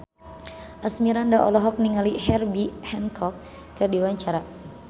Asmirandah olohok ningali Herbie Hancock keur diwawancara